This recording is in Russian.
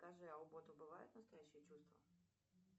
скажи а у бота бывают настоящие чувства